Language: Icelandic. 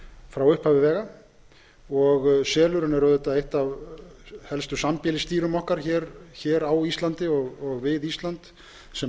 frá upphafi vega og selurinn er auðvitað eitt af helstu sambýlisdýrum okkar á íslandi og við ísland sem